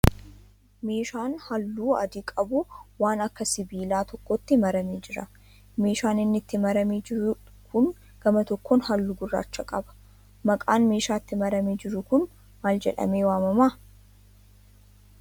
Meeshaan halluu adii qabu waan akka sibiilaa tokkootti maramee jira. Meeshaan inni itti maramee jiru kun gama tokkoon hallu gurraacha qaba. maqaan meesha itti maramee jiru kun maal jedhemee waamama?